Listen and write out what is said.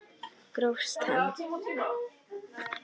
Grófst hann!